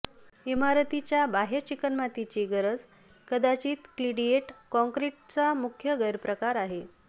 इमारतीच्या बाहय चिकणमातीची गरज कदाचित क्लिडेइट कॉंक्रिटचा मुख्य गैरप्रकार आहे